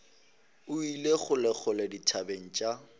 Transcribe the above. o ile kgolekgole dithabeng tša